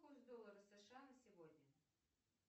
курс доллара сша на сегодня